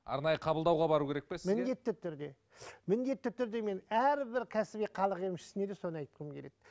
арнайы қабылдауға бару керек пе сізге міндетті түрде міндетті түрде мен әрбір кәсіби халық емшісіне де соны айтқым келеді